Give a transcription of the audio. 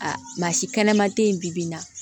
Aa maa si kɛnɛma te yen bi bi in na